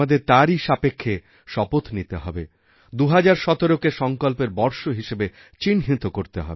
আজ আমাদের তারই সাপেক্ষে শপথ নিতে হবে ২০১৭কে সঙ্কল্পের বর্ষ হিসেবে চিহ্নিত